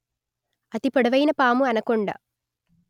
అతి పొడవైన పాము అనకొండ